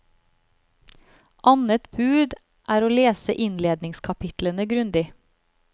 Annet bud er å lese innledningskapitlene grundig.